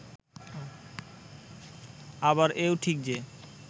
আবার এও ঠিক যে